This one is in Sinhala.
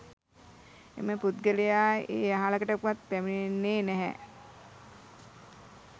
එම පුද්ගලයා ඒ අහලකටවත් පැමිණෙන්නේ නැහැ.